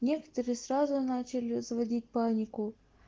некоторые сразу начали заводить панику